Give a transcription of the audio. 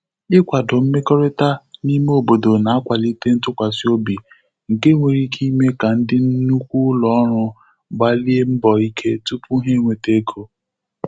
Ikwadọ mmekọrịta n'ime obodo na-akwalite ntụkwasị obi, nke nwere ike ime ka ndị nnụkwụ ụlọ ọrụ gbalie mbọ ike tụpụ ha e nweta ego.